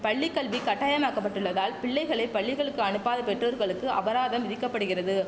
பள்ளிக்கல்வி கட்டாயமாக்கப்பட்டுள்ளதால் பிள்ளைகளை பள்ளிகளுக்கு அனுப்பாத பெற்றோர்களுக்கு அபராதம் விதிக்க படுகிறது